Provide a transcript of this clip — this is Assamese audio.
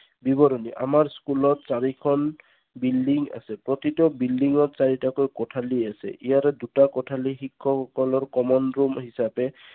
বিৱৰণী আমাৰ school ত চাৰিখন building আছে। প্ৰতিত বিল্ডিংত চাৰিটাকৈ কোঠালি আছে। ইয়াৰে দুটা কোঠালি শিক্ষকসকলৰ common room হিচাপে